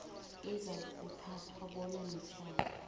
ezakuthathwa bona mitjhado